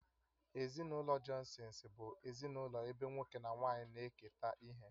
Ezinụlọ Johnsons bụ ezinụlọ ebe nwoke na nwaanyị na-eketa ihe